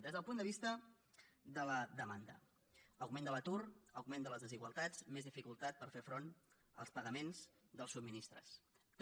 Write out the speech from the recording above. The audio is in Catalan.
des del punt de vista de la demanda augment de l’atur augment de les desigualtats més dificultat per fer front als pagaments dels subministraments també